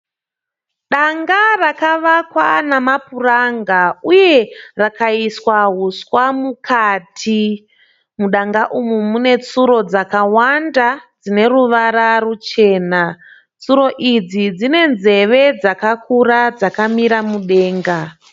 Danga rakavakwa namapuranga uye rakaiswa huswa mukati. Mudanga umu munetsuro dzakawanda dzineruvara ruchena. Tsuro idzi dzinenzeve dzakakura dzakamira mudenga.